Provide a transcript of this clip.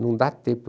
Não dá tempo.